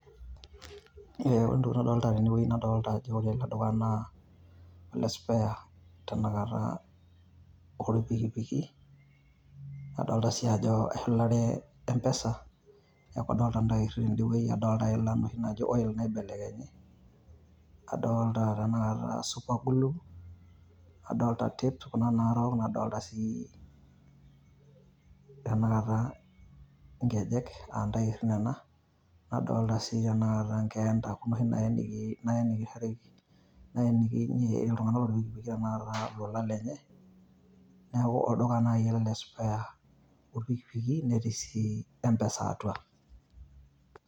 Ore entoki nadolita tene naa nadolita ajo ore ene dukuya naa ole spare tenakata loo ilpikipiki. Niaku adolita sii ajo eshulare m-pesa . Niaku adolita ntairri ten`de wueji nadolita ila inoshi naaji oil naibelekenyi. Adolita tena kata super glue nadolita tape kuna naarok nadolita sii tanakata nkejek aa ntairi nena . Nadolita sii tenakata nkeenta kuna oshi naaye nikishoreki, naenikinyie iltung`anak ilpikipiki tenakata ilolan lenye. Niaku olduka naaji ele le spares oo ilpikipiki netii e m-pesa atua.